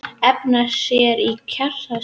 Efna sér í kjarnorkusprengju